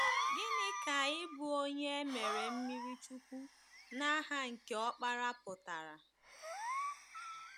Gịnị ka ịbụ onye e mere mmiri chukwu ‘n’aha nke Ọkpara’ pụtara?